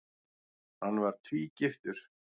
Hann var tvígiftur.